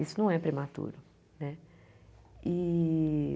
Isso não é prematuro, né e?